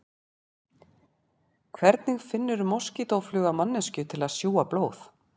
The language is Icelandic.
Hvernig finnur moskítófluga manneskju til að sjúga blóð?